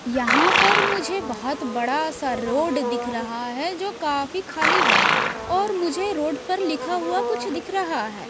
यहाँ पर मुझे बहुत बड़ा सा रोड दिख रहा है जो काफी खाली है और मुझे रोड पर लिखा हुआ कुछ दिख रहा है।